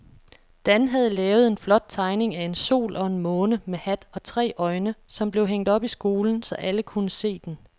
Dan havde lavet en flot tegning af en sol og en måne med hat og tre øjne, som blev hængt op i skolen, så alle kunne se den.